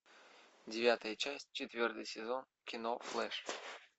девятая часть четвертый сезон кино флэш